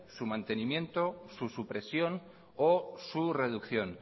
su mantenimiento su supresión o su reducción